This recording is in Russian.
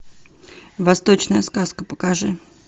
восточная сказка покажи